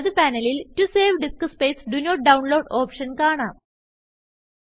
വലത് പാനലിൽ to save disk space do not download option കാണാം